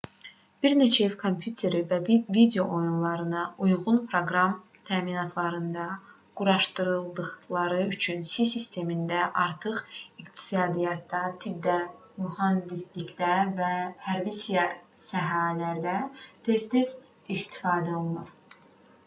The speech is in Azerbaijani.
bir neçə ev kompüteri və video oyunlarına uyğun proqram təminatlarında quraşdırıldıqları üçün si̇ sistemindən artıq iqtisadiyyatda tibbdə mühəndislikdə və hərbi sahələrdə tez-tez istifadə olunur